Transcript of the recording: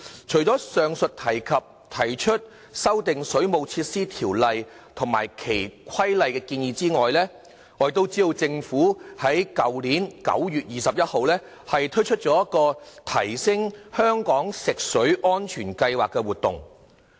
除上述提出修訂《水務設施條例》及其規例的建議外，政府在去年9月21日亦推出提升香港食水安全行動計劃的活動。